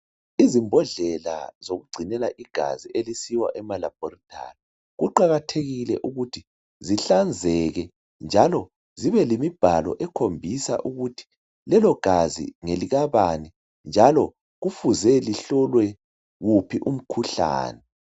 Izimbodlela zokugcinela igazi elisiwa emalaboratory kuqakathekile ukuthi zihlanzeke njalo zibe lemibhalo ekhombisa ukuthi lelo gazi ngelikabani njalo kufuze lihlolwe wuphi umkhuhlani.